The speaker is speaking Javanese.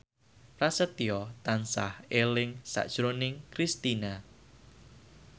Prasetyo tansah eling sakjroning Kristina